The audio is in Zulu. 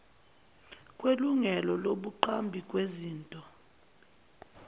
kwelungelo lobuqambi bezinto